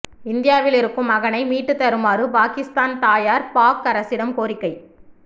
இந்தியாவில் இருக்கும் மகனை மீட்டு தருமாறு பாகிஸ்தான் தாயார் பாக் அரசிடம் கோரிக்கை